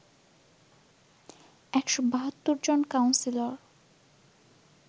১৭২ জন কাউন্সিলর